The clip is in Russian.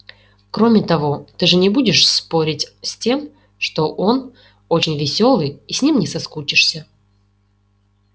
кроме того ты же не будешь спорить с тем что он очень весёлый и с ним не соскучишься